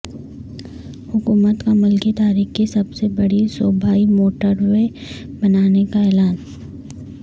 حکومت کا ملکی تاریخ کی سب سے بڑی صوبائی موٹروے بنانے کا اعلان